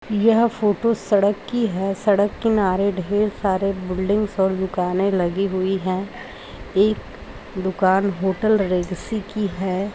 यह फोटो सड़क की है। सड़क किनारे ढेर सारे बिल्डिंग्स और दुकानें लगी हुई हैं। एक दुकान होटल रेगिसी की है।